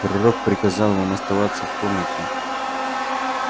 пророк приказал вам оставаться в комнате